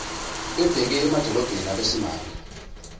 bebheke emadilobheni abesimame